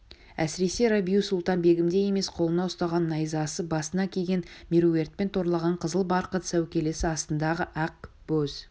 әсіресе рабиу-сұлтан-бегімдей емес қолына ұстаған найзасы басына киген меруертпен торлаған қызыл барқыт сәукелесі астындағы ақ боз